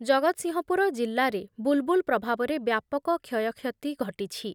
ଜଗତସିଂହପୁର ଜିଲ୍ଲାରେ ବୁଲ୍ ବୁଲ୍ ପ୍ରଭାବରେ ବ୍ୟାପକ କ୍ଷୟକ୍ଷତି ଘଟିଛି।